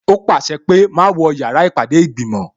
Ó pàṣẹ pé "má wọ yàrá ìpàdé ìgbìmò"